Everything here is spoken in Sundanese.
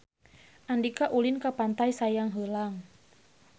Andika ulin ka Pantai Sayang Heulang